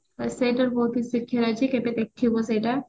ସେଇଟାରୁ ବହୁତ କିଛି ଶିଖିବାର ଅଛି କେବେ ଦେଖିବୁ ସେଇଟା